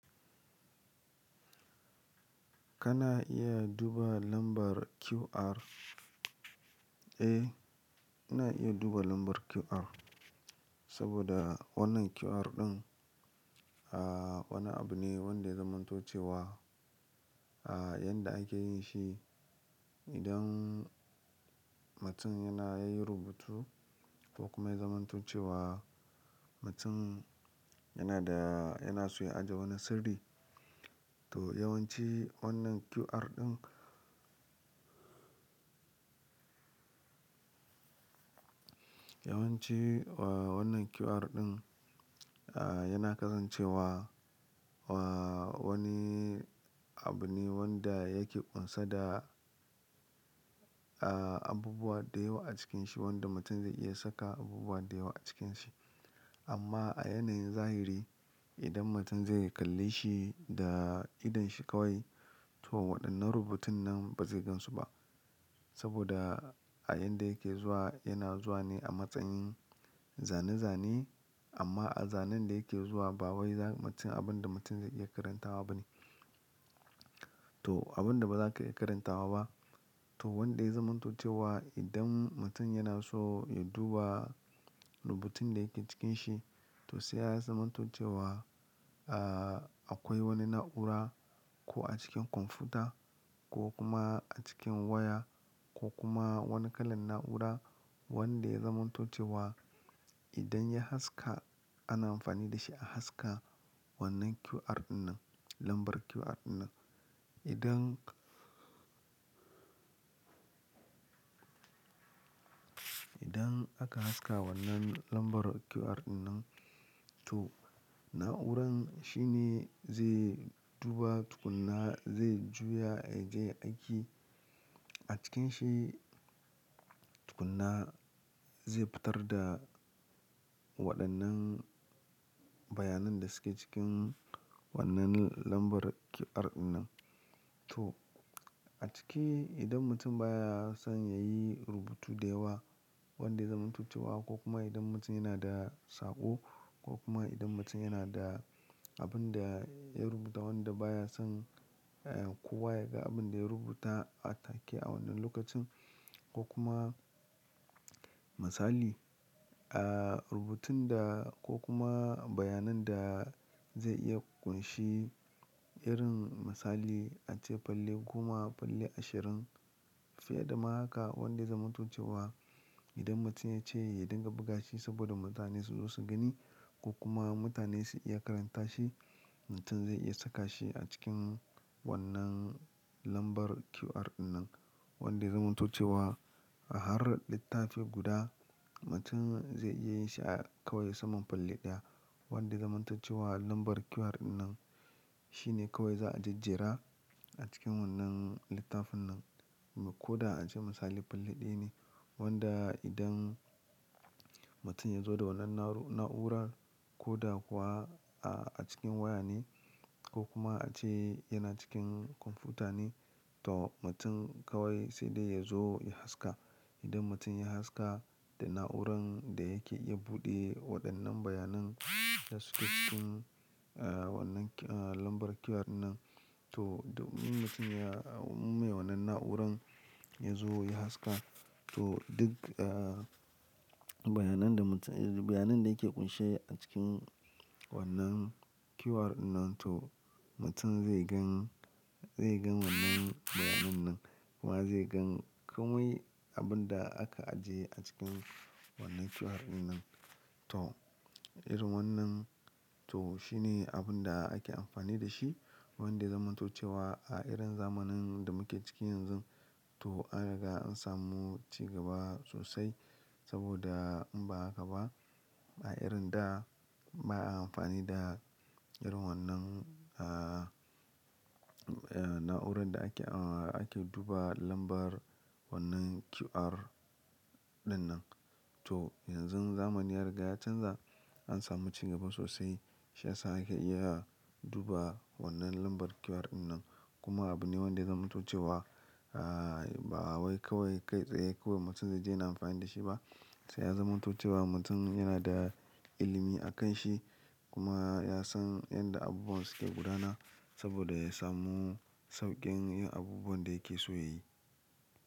Kana iya duba lambar QR? Eh, ina iya duba lambar QR. Saboda wannan QR ɗin, ah, wani abu ne wanda ya zamantoce wa, ah, yanda ake yin shi. Idan mutum yana yi rubutu ko kuma ya zamantoce wa, mutum yana da, yana so ya ajiye wani sirri. To yawanci wannan QR ɗin, yawanci, wah, wannan QR ɗin, ah, yana kasance wa, wah, wani abu ne wanda yake ƙunsa da, ah, abubuwa da yawa a cikin shi wanda mutum zai iya saka abubuwa da yawa a cikin shi. Amma a yanayin zahiri, idan mutum zai kalle shi da idon shi kawai, to waɗannan rubutun nan ba zai gansu ba. Saboda a yanda yake zuwa, yana zuwa ne a matsayin zane-zane. Amma a zanen da yake zuwa, ba wai za mutum, abin da mutum zai iya karantawa ba ne. To abin da ba za ka iya karantawa ba. To wanda ya zamantoce wa idan mutum yana so ya duba rubutun da yake cikin shi, to sai ya zamanto ce wa, ah, akwai wani na'ura ko a cikin kwamfuta ko kuma a cikin waya ko kuma wani kalan na'ura wanda ya zamanto ce wa idan ya haska, ana amfani da shi a haska wannan QR ɗin nan, lambar QR ɗin nan. Idan, idan aka haska wannan lambar QR ɗin nan, to na'uran shi ne zai duba tukunna, zai juya ya je ya aiki. A cikin shi tukunna zai fitar da waɗannan bayanan da suke cikin wannan lambar QR ɗin nan. To a ciki idan mutum baya son ya yi rubutu da yawa wanda ya zamanto ce wa ko kuma idan mutum yana da saƙo ko kuma idan mutum yana da abin da ya rubuta wanda baya son, eh, kowa ya ga abin da ya rubuta a take a wannan lokacin ko kuma misali, ah, rubutun da ko kuma bayanan da zai iya ƙunshi irin misali ace falle goma, falle ashirin. Fiye da ma haka wanda ya zamanto ce wa idan mutum ya ce ya dinga buga shi saboda mutane su zo su gani ko kuma mutane su iya karanta shi, mutum zai iya saka shi a cikin wannan lambar QR ɗin nan wanda ya zamanto ce wa a har littafi guda mutum zai iya yin shi a kawai saman falle ɗaya wanda ya zamanto ce wa lambar QR ɗin nan. Shi ne kawai za a jejjera a cikin wannan littafin nan. Koda a ce misali falle ɗaya ne wanda idan mutum ya zo da wannan na'urar koda kuwa, ah, a cikin waya ne ko kuma a ce yana cikin kwamfuta ne, to mutum kawai sai dai ya zo ya haska. Idan mutum ya haska, da na'uran da yake iya buɗe waɗannan bayanan da suke cikin, ah, wannan, ah, lambar QR ɗin nan to domin mutum ya, mu mai wannan na'uran ya zo ya haska to duk, ah, bayanan da mutum, bayanan da yake ƙunshe a cikin wannan QR ɗin nan to mutum zai gan, zai gan wannan bayanan nan kuma zai gan komai abin da aka ajiye a cikin wannan QR ɗin nan. To irin wannan to shi ne abin da ake amfani da shi wanda ya zamanto ce wa a irin zamanin da muke ciki yanzun. To an riga an samu cigaba sosai saboda in ba haka ba, a irin da ba a amfani da irin wannan ah, ah, na'uran da ake, ah, ake duba lambar wannan QR ɗin nan. To yanzun zamani ya riga ya canza, an samu cigaba sosai. Shi ya sa ake iya duba wannan lambar QR ɗin nan. Kuma abu ne wanda ya zamanto ce wa, ah, ba wai kawai kai tsaye kawai mutum zai je yana amfani da shi ba. Sai ya zamantace wa mutum yana da ilimi a kan shi kuma ya san yanda abubuwan suke gudana saboda ya samu sauƙin yin abubuwan da yake so ya yi.